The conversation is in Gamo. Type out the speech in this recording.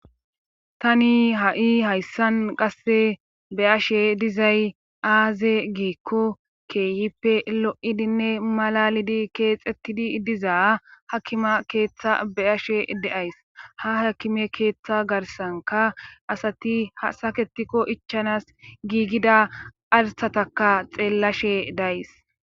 tani ha7i hayssan qasse be ashe dizay aaze giikko keeyippe lo7idinne malalidi keexxettidi diza hakkima keeththa be ashe de7ays ha hakime keeththa garsanka asati hsaketikko ichanas giigida artataka xeellashe days